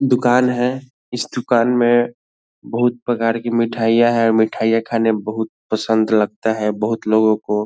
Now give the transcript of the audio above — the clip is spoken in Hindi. दुकान है इस दुकान में बहुत प्रकार की मिठाईयाँ है मिठाईयाँ खाने बहुत पसंद लगता है बहुत लोगो को --